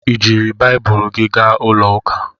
I jiiri Baịbụl gị gaa ụlọ ụka?